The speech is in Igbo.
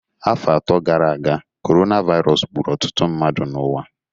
Afọ atọ gara aga, coronavirus gburu ọtụtụ mmadụ n'ụwa